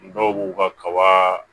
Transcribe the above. Dɔw b'u ka kaba